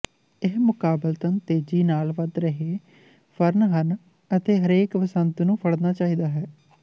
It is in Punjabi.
ਇਹ ਮੁਕਾਬਲਤਨ ਤੇਜੀ ਨਾਲ ਵਧ ਰਹੇ ਫ਼ਰਨ ਹਨ ਅਤੇ ਹਰੇਕ ਬਸੰਤ ਨੂੰ ਫੜਨਾ ਚਾਹੀਦਾ ਹੈ